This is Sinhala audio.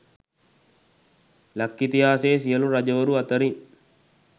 ලක් ඉතිහාසයේ සියලු රජවරු අතරින්